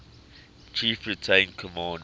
chief retained command